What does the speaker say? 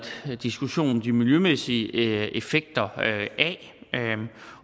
diskussion om de miljømæssige effekter af